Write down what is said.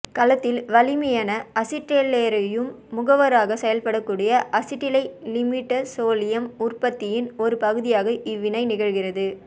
கலத்தில் வலிமையன அசிட்டைலேற்ரும் முகவராக செயல்படக்கூடிய அசிட்டைலிமிடசோலியம் உற்பத்தியின் ஒரு பகுதியாக இவ்வினை நிகழ்கிறது